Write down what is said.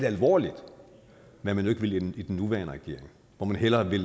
alvorligt hvad man jo ikke vil i den nuværende regering hvor man hellere vil